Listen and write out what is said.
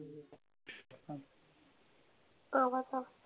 आवाज,